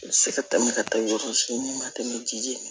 I bɛ se ka tɛmɛ ka taa yɔrɔ si n'i ma tɛmɛ ji min